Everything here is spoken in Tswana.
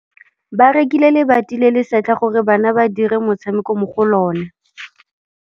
Ba rekile lebati le le setlha gore bana ba dire motshameko mo go lona.